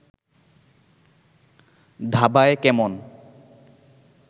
ধাবায় কেমন